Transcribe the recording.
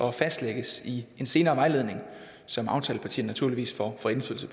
og fastlægges i en senere vejledning som aftalepartierne naturligvis